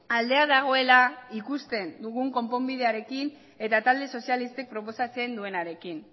aldea dagoela ikusten dugun konponbidearekin eta talde sozialistek proposatzen duenarekin